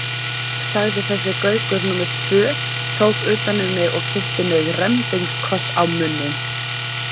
sagði þessi Gaukur númer tvö, tók utan um mig og kyssti mig rembingskoss á munninn.